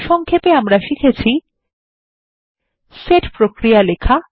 সংক্ষেপে আমরা শিখেছি সেট প্রক্রিয়া লেখা